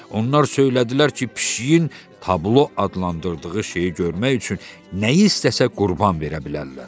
Onlar söylədilər ki, pişiyin tablo adlandırdığı şeyi görmək üçün nəyi istəsə qurban verə bilərlər.